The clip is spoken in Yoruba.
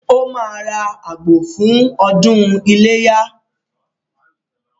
Ó máa ra àgbò fún “ ọdún iléyá ”.